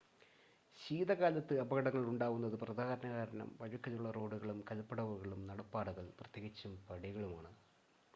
ശീതകാലത്ത് അപകടങ്ങൾ ഉണ്ടാവുന്നതിന് പ്രധാനകാരണം വഴുക്കലുള്ള റോഡുകളും കൽപടവുകളും നടപ്പാതകൾ പ്രത്യേകിച്ചും പടികളുമാണ്